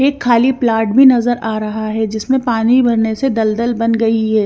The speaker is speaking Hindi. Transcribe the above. एक खाली प्लाट भी नजर आ रहा है जिसमे पानी भरने से दलदल बन गई है।